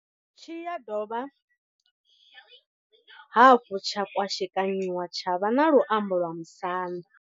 Tshi ya dovha hafhu tsha kwashekanyiwa tsha vha na luambo lwa Musanda.